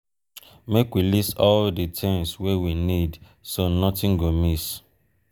make we list all di tins wey we need so notin go miss.